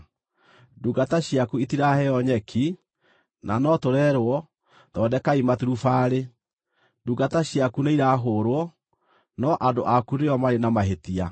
Ndungata ciaku itiraheo nyeki, na no tũrerwo, ‘Thondekai maturubarĩ!’ Ndungata ciaku nĩirahũũrwo, no andũ aku nĩo marĩ na mahĩtia.”